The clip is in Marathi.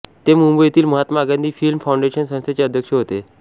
ते मुंबईतील महात्मा गांधी फिल्म फाऊंडेशन संस्थेचे अध्यक्ष होते